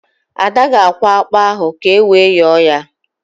Ada ga-akwọ ákpụ́ ahụ ka ewe yọọ ya